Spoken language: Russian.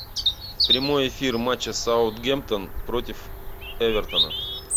прямой эфир матча саутгемптон против эвертона